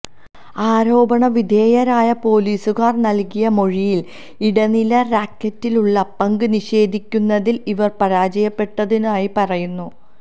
ആരോപണ വിധേയരായ പൊലീസുകാർ നൽകിയ മൊഴിയിൽ ഇടനില റാക്കറ്റിലുള്ള പങ്ക് നിഷേധിക്കുന്നതിൽ ഇവർ പരാജയപ്പെട്ടിരുന്നതായി പറയുന്നു